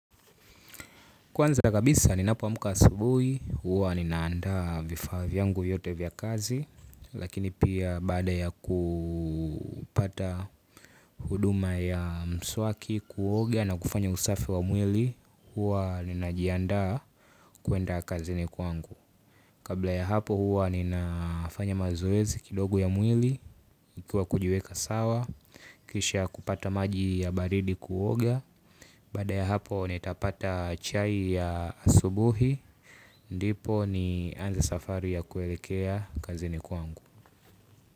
Kwanza kabisa ninapo amka asubuhi, huwa ninaanda vifaa vyangu vyote vya kazi, lakini pia baada ya kupata huduma ya mswaki kuoga na kufanya usafi wa mwili, huwa ninajianda kuenda kazini kwangu. Kabla ya hapo huwa ninafanya mazoezi kidogo ya mwili. Ikiwa kujiweka sawa kisha kupata maji ya baridi kuoga. Baada ya hapo nitapata chai ya asubuhi. Ndipo nianze safari ya kuelekea kazini kwangu.